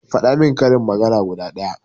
Faɗa min karin magana guda ɗaya